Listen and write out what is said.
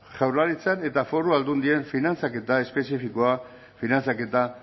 jaurlaritzaren eta foru aldundien finantzaketa espezifikoa finantzaketa